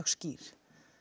skýr